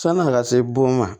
San'a ka se bon ma